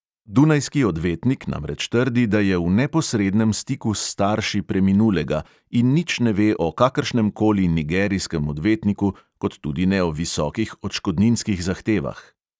Dunajski odvetnik namreč trdi, da je v neposrednem stiku s starši preminulega in nič ne ve o kakršnem koli nigerijskem odvetniku kot tudi ne o visokih odškodninskih zahtevah.